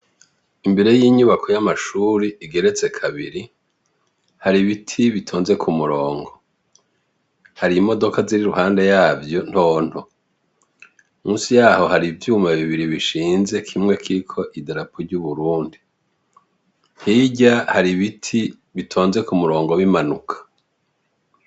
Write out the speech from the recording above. Imbere y' inyubako yamashuri igeretse kabiri, hari ibiti bitonze ku murongo .Hari imodoka ziri iruhande yavyo ntonto . Munsi yaho hari ivyuma bibiri bishinze kimwe kiriko idarapo ry' Uburundi . Hirya hari ibiti bitonze ku murongo bimanuka.